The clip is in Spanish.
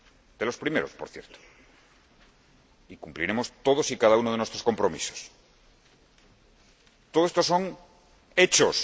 De los primeros, por cierto. Cumpliremos todos y cada uno de nuestros compromisos. Todo esto son hechos.